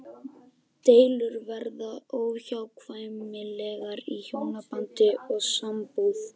Deilur verða óhjákvæmilega í hjónabandi og sambúð.